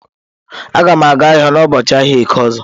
Agam aga ahia n'ubọọchi ahia eke ozo.